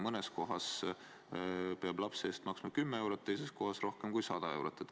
Mõnes kohas peab lapse alushariduse eest maksma 10 eurot, teises kohas rohkem kui 100 eurot.